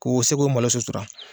K'o se k'o malo sutura.